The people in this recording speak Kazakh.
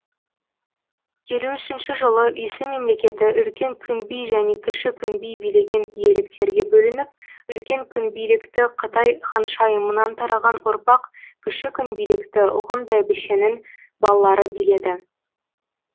елу үшінші жылы үйсін мемлекеті үлкен күнби және кіші күнби билеген иеліктерге бөлініп үлкен күнбилікті қытай ханшайымынан тараған ұрпақ кіші күнбилікті ғұн бәйбішенің балалары биледі